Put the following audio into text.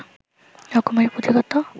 রকমারি পুঁথি কত